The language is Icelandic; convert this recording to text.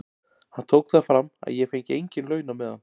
Hann tók það fram að ég fengi engin laun á meðan.